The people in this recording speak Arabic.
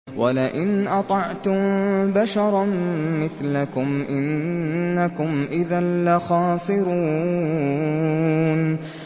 وَلَئِنْ أَطَعْتُم بَشَرًا مِّثْلَكُمْ إِنَّكُمْ إِذًا لَّخَاسِرُونَ